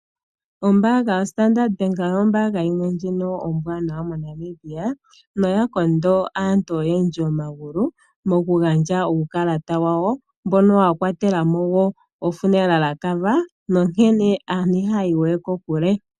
Ombanga yaStandard Bank, ombanga yimwe ndjono ombwanawa moNamibia noya kondo aantu oyendji omagulu mokugandja uukalata wawo mbono wa kwatelamowo ekwashilipaleko nonkene aatu iha ya yiwe kokule.